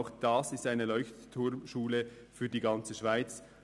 Sie ist ebenfalls eine Leuchtturm-Schule für die ganze Schweiz.